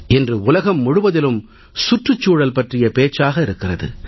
இன்று உலகம் முழுவதிலும் சுற்றுச்சூழல் பற்றிய பேச்சாக இருக்கிறது